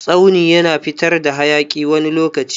Tsauni yana fitar hayaki wani lokaci.